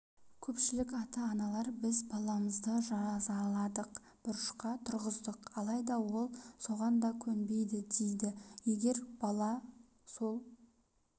көпшілік ата-аналар біз баламызды жазаладық бұрышқа тұрғыздық алайда ол соған да көнбейді дейді егер бала сол